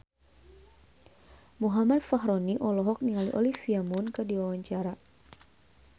Muhammad Fachroni olohok ningali Olivia Munn keur diwawancara